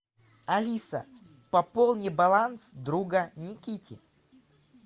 алиса пополни баланс друга никите